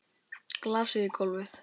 Glasið í gólfið.